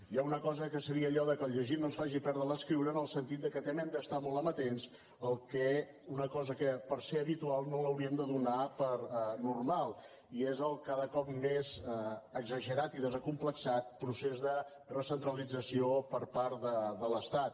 i hi ha una cosa que seria allò que el llegir no es faci perdre l’escriure en el sentit que també hem d’estar molt amatents a una cosa que pel fet de ser habitual no l’hauríem de donar per normal i és el cada cop més exagerat i desacomplexat procés de recentralització per part de l’estat